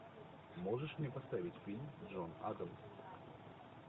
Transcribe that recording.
можешь мне поставить фильм джон адамс